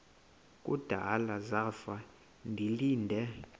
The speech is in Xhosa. kudala zafa ndilinde